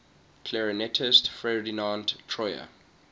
clarinetist ferdinand troyer